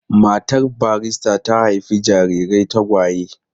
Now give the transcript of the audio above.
Matar barista ta haifi jarirai tagwaye.